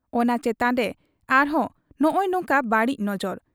ᱚᱱᱟ ᱪᱮᱛᱟᱱᱨᱮ ᱟᱨᱦᱚᱸ ᱱᱚᱜᱻᱚᱭ ᱱᱚᱝᱠᱟ ᱵᱟᱹᱲᱤᱡ ᱱᱚᱡᱚᱨ ᱾